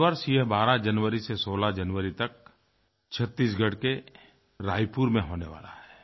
इस वर्ष ये 12 जनवरी से 16 जनवरी तक छत्तीसगढ़ के रायपुर में होने वाला है